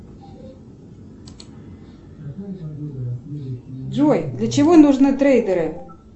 джой для чего нужны трейдеры